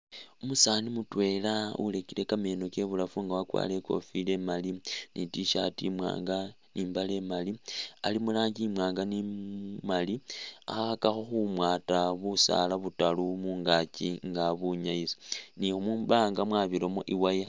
Umusaani mutwela ulekile kameno kye ibulafu nga wakwarire ikofila imaali ni t-shirt imwanga ni imbaale imaali ali muranji imwanga maali akhakakho khumwata busala butalu mungkyi nga abunyaisa ni mubanga mwabiramo i wire.